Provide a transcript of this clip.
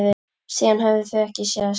Síðan höfðu þau ekki sést.